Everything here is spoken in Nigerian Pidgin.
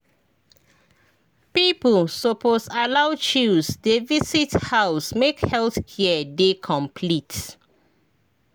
people suppose allow chws dey visit house make health care dey complete.